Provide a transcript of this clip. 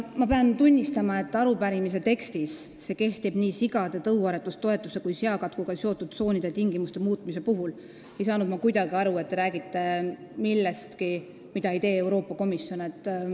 Ma pean tunnistama, et avalduse tekstis – see kehtib nii sigade tõuaretustoetuse kui ka seakatku tõttu kehtestatud tsoonide tingimuste muutmise kohta – ei saanud ma kuidagi aru, et te räägite millestki, mida ei tee Euroopa Komisjon.